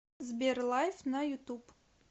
сбер лайв на ютуб